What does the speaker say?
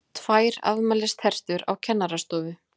TVÆR AFMÆLISTERTUR Á KENNARASTOFU